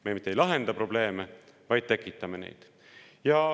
Me mitte ei lahenda probleeme, vaid tekitame neid.